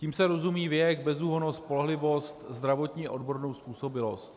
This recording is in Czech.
Tím se rozumí věk, bezúhonnost, spolehlivost, zdravotní a odborná způsobilost.